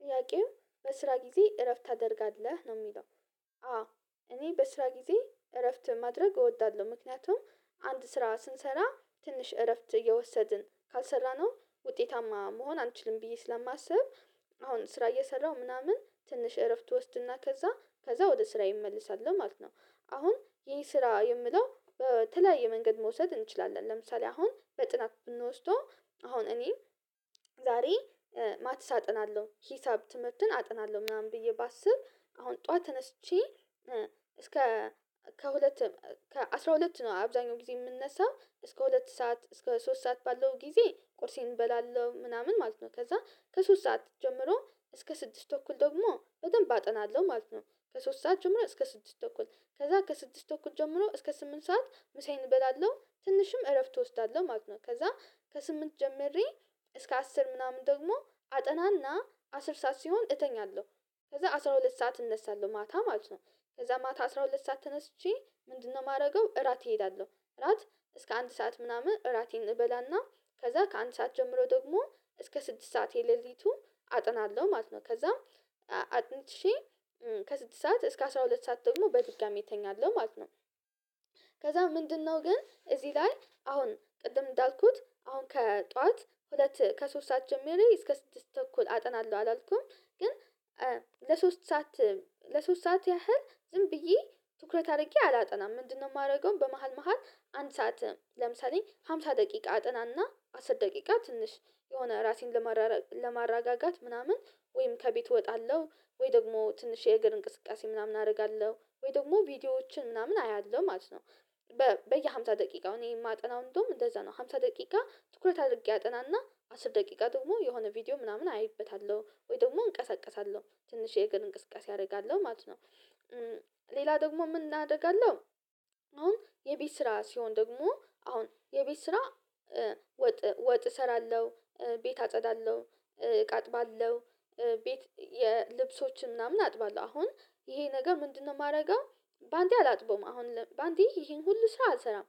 ጥያቄው በስራ ጊዜ እረፍት ታደርጋለህ? ነው የሚለው አዎ እኔ በስራ ጊዜ እረፍት ማድረግ እወዳለሁ ምክንያቱም አንድ ስራ ስንሰራ ትንሽ እረፍት እወሰድን ካልሰራነው ውጤታማ መሆን አንችልም ብዬ ስለማስብ አሁን ስራ እየሰራሁ ምናምን ትንሽ እረፍት ወስድና ከዛ ከዛ ወደ ስራ እመለሳል ማለት ነው አሁን ይህ ስራ የምለው በተለያየ መንገድ መውሰድ እንችላለን ለምሳሌ አሁን በጥናት ብንወስደው አሁን እኔ ዛሬ ማትስ አጥናለሁ ሂሳብ ትምህርትን አጥናለሁ ምናምን ብዬ ባስብ አሁን ጠዋት ተነስቼ እስከ ከሁለት ከአስራ ሁለት ነው አብዛኛው ጊዜ የምንነሳው እስከ ሁለት ሰዓት እስከ ሶስት ሰዓት ባለው ጊዜ ቁርሴን እበላለሁ ምናምን ማለት ነው ከዛ ከሶስት ሰዓት ጀምሮ እስከ ስድስት ትኩል ደግሞ በደንብ አጠናለሁ ማለት ነው ከሶስት ሰዓት ጀምሮ እስከ ስድስት ተኩል ከዛ ከስድስት ተኩል ጀምሮ እስከ ስምንት ሰዓት ምሳዬን እበላለሁ ትንሽም እረፍት እወስዳለሁ ማለት ነው ከዛ ከስምንት ጀምሬ እስከ አስር ምናምን ደግሞ አጠናና አስር ሰዓት ሲሆን እተኛለሁ። ከዛ አስራ ሁለት ሰዓት እነሳለሁ ማታ ማለት ነው። ከዛ ማታ አስራ ሁለት ሰዓት ተነስቼ ምንድነው ማርገው እራት እሄዳለሁ እራት እስከ አንድ ሰዓት ምናምን እራቴን እበላና ከዛ ከአንድ ሰዓት ጀምሮ ደግሞ እስከ ስድስት ሰዓት የሌሊቱ አጥናለሁ ማለት ነው። ከዛም አጥንቼ ከስድስት ሰዓት እስከ አስራ ሁለት ሰዓት ደግሞ በድጋሚ እተኛለሁ ማለት ነው። ከዛ ምንድነው ግን እዚህ ላይ አሁን ቅድም እንዳልኩት አሁን ከጠዋት ሁለት ከሶስት ሰዓት ጀምሮ እስከ ስድስት ተኩል አጠናለሁ አላልኩም ግን ለሶስት ሰዓት ለሶስት ሰዓት ያህል ዝም ብዬ ትኩረት አርጌ አላጠናም ምንድነው ማርገው በመሃል መሃል አንድ ሰዓት ለምሳሌ ሃምሳ ደቂቃ አጥናና አስር ደቂቃ ትንሽ የሆነ ራሴን ለማረጋጋት ምናምን ወይም ከቤት እወጣለሁ ወይ ደግሞ ትንሽ የእግር እንቅስቃሴ ምናምን አርጋለሁ ወይ ደግሞ ቪዲዮዎችን ምናምን አያለሁ ማለት ነው በየ ሃምሳ ደቂቃው እኔ የማጠናው እንደውም እንደዛ ነው ሃምሳ ደቂቃ ትኩረት አርጌ አጠናና አስር ደቂቃ ደግሞ የሆነ ቪዲዮ ምናምን አይበታለሁ ወይ ደግሞ እንቀሳቀሳለሁ ትንሽ የእግር እንቅስቃሴ አርጋለሁ ማለት ነው ሌላ ደግሞ ምን አርጋለሁ አሁን የቤት ስራ ሲሆን ደግሞ አሁን የቤት ስራ ወጥ ወጥ እሰራለሁ ቤት አጸዳለሁ እቃ አጥባለሁ ቤት የልብሶችን ምናምን አጥባለሁ አሁን ይሄ ነገር ምንድነው ማደርገው ባንዴ አላጥብም አሁን በአንዴ ይሄን ሁሉ ስራ አልሰራም